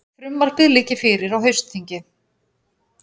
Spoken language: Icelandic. Frumvarpið liggi fyrir á haustþingi